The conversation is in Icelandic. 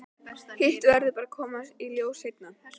Hitt verður bara að koma í ljós seinna.